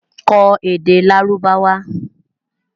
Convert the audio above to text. Kọ́ èdè Lárúbáwá!